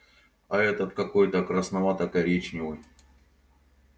а этот какой-то красновато коричневый